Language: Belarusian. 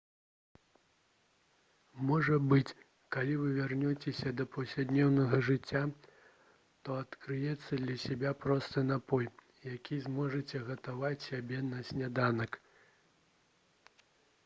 можа быць калі вы вернецеся да паўсядзённага жыцця то адкрыеце для сябе просты напой які зможаце гатаваць сябе на сняданак